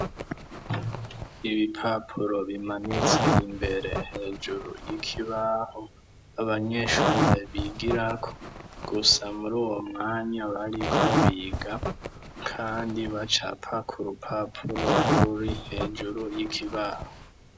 Ibipapuro bimanitse imbere hejuru y'ikibaho abanyeshure bigirako gusa muri uwo mwanya bariko biga kandi bacapa ku rupapuro ruri hejuru y'ikibaho.